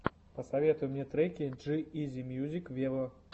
посоветуй мне треки джи изи мьюзик вево